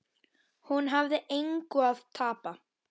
Hún hafði engu að tapa.